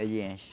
Ele enche.